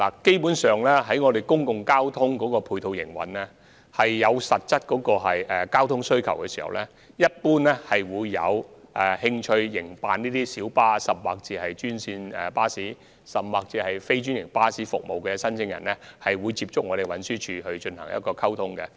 基本上，當公共交通服務出現實質需求時，有興趣營辦專線小巴、專營巴士，甚或非專營巴士服務的申請人會主動接觸運輸署進行溝通。